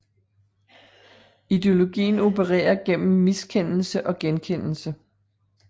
Ideologien opererer gennem miskendelse og genkendelse